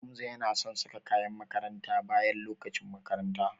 Hamza yana son saka kayan makaranta bayan lokacin makaranta.